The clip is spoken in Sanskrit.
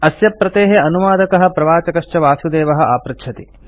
अस्य प्रतेः अनुवादकः प्रवाचकश्च ऐ ऐ टि बांबे तः वासुदेवः अधुना आपृच्छति